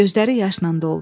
Gözləri yaşla doldu.